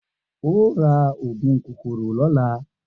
O óò ra ògùn kòkòrò lóla!